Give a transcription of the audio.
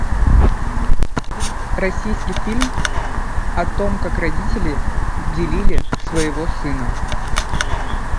российский фильм о том как родители делили своего сына